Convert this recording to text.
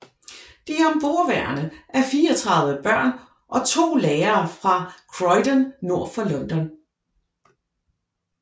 De ombordværende er 34 børn og 2 lærere fra Croydon nord for London